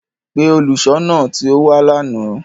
Pe oluṣọọna ti o wa làná!